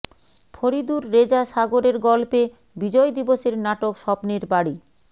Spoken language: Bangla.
ফরিদুর রেজা সাগরের গল্পে বিজয় দিবসের নাটক স্বপ্নের বাড়ি